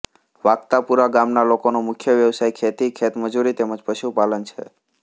વાકતાપુરા ગામના લોકોનો મુખ્ય વ્યવસાય ખેતી ખેતમજૂરી તેમ જ પશુપાલન છે